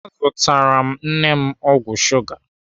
Azụtara m nne m ọgwụ shuga.